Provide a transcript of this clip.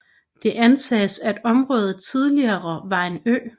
Det antages at området tidligere var en ø